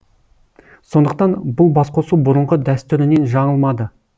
сондықтан бұл басқосу бұрынғы дәстүрінен жаңылмады